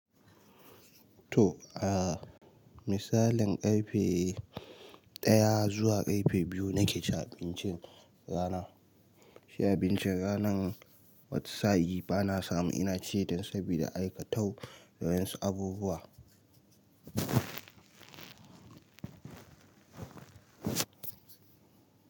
To, a misalin ƙarfe daya zuwa ƙarfe biyu nake cin abincin rana. Shi abincin ranan wata sa'in bana samu ina ci dan saboda aikatau dan wasu abubuwa.